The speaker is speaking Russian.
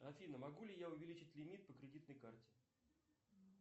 афина могу ли я увеличить лимит по кредитной карте